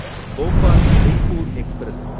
Bhopal Jaipur express